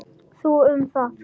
Þú um það.